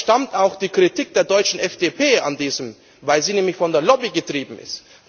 Und daher stammt auch die Kritik der deutschen FDP, weil sie nämlich von der Lobby getrieben ist.